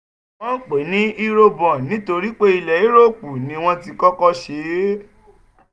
wọ́n ń pè é ní eurobond nítorí pé ilẹ̀ yúróòpù ni wọ́n ti kọ́kọ́ ṣe é.